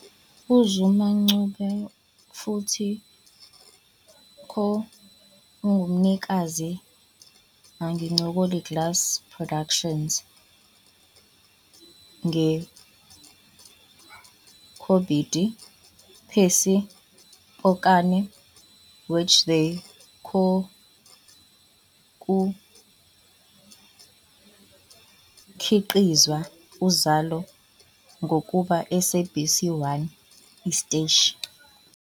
UZuma-Ncube futhi co-ungumnikazi angcolile Glass Productions nge Kobedi "Pepsi" Pokane, which they co-kukhiqizwa "Uzalo" ngokuba SABC one siteshi.